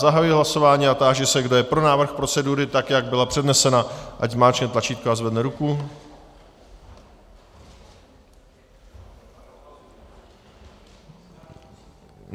Zahajuji hlasování a táži se, kdo je pro návrh procedury, tak jak byla přednesena, ať zmáčkne tlačítko a zvedne ruku.